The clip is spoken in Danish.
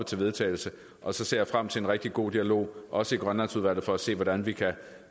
til vedtagelse og så ser jeg frem til en rigtig god dialog også i grønlandsudvalget for at se hvordan vi kan